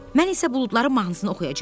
Mən isə buludların mahnısını oxuyacam.